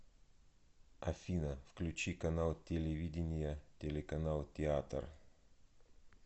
афина включи канал телевидения телеканал театр